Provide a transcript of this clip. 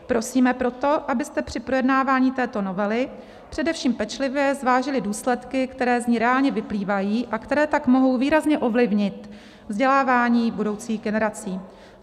Prosíme proto, abyste při projednávání této novely především pečlivě zvážili důsledky, které z ní reálně vyplývají, a které tak mohou výrazně ovlivnit vzdělávání budoucích generací.